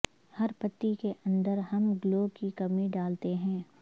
ہر پتی کے اندر ہم گلو کی کمی ڈالتے ہیں